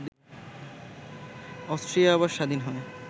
Austria আবার স্বাধীন হয়